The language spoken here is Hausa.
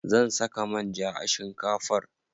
Zan saka manja a shinkafar.